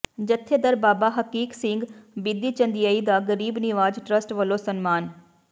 ਜਥੇਦਾਰ ਬਾਬਾ ਹਕੀਕ ਸਿੰਘ ਬਿੱਧੀਚੰਦੀਏ ਦਾ ਗਰੀਬ ਨਿਵਾਜ ਟਰੱਸਟ ਵਲੋਂ ਸਨਮਾਨ